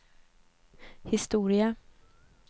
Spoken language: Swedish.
historia